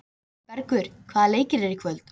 Bergur, hvaða leikir eru í kvöld?